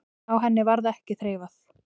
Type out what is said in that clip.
Á henni varð ekki þreifað.